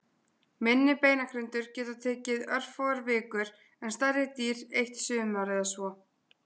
Minni beinagrindur geta tekið örfáar vikur en stærri dýr eitt sumar eða svo.